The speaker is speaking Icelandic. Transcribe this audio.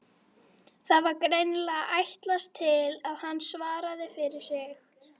Það var greinilega ætlast til að hann svaraði fyrir sig.